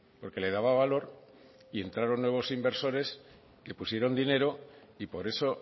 porque le daba valor y entraron nuevos inversores que pusieron dinero y por eso